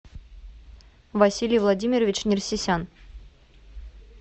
василий владимирович нерсесян